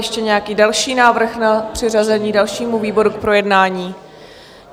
Ještě nějaký další návrh na přiřazení dalšímu výboru k projednání?